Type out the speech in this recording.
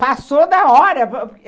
Passou da hora.